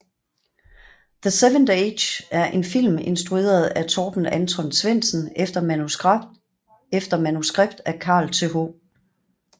The seventh age er en film instrueret af Torben Anton Svendsen efter manuskript af Carl Th